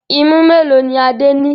Imú mélòó ni Adé ní?